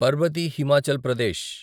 Parbati Himachal Pradesh